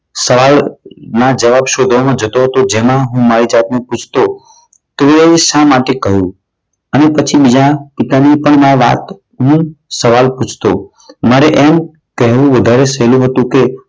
સવાલ ના જવાબ શોધવામાં જતો હતો. જેમાં હું મારી જાતને પૂછતો તેઓએ એવું શા માટે કહ્યું? અને પછી બીજા પિતાની પણ વાત હું સવાલ પૂછતો. મારે એમ કહેવું વધારે સહેલું હતું કે